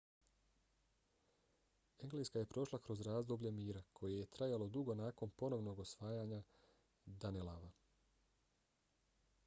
engleska je prošla kroz razdoblje mira koje je trajalo dugo nakon ponovnog osvajanja danelawa